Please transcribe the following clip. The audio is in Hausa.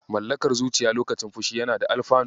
Mallakar zuciya lokacin fushi yana da alfanu.